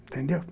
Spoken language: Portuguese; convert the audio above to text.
Entendeu?